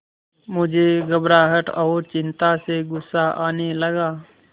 मुझे घबराहट और चिंता से गुस्सा आने लगा